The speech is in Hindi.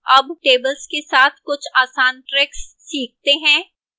अब tables के साथ कुछ आसान tricks सीखते हैं